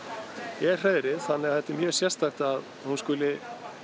er hreiðrið þannig að þetta er mjög sérstakt að hún skuli